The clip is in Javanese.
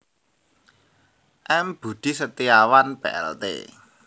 M Budi Setiawan Plt